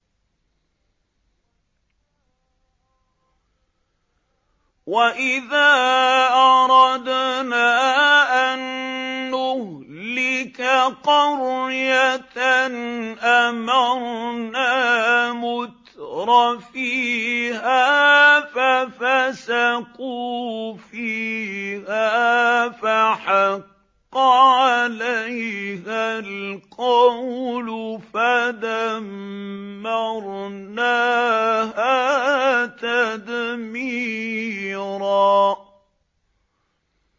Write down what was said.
وَإِذَا أَرَدْنَا أَن نُّهْلِكَ قَرْيَةً أَمَرْنَا مُتْرَفِيهَا فَفَسَقُوا فِيهَا فَحَقَّ عَلَيْهَا الْقَوْلُ فَدَمَّرْنَاهَا تَدْمِيرًا